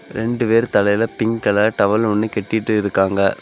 ரெண்டு பேரு தலையில பிங்க் கலர் டவல் ஒன்னு கெட்டிட்டு இருக்காங்க.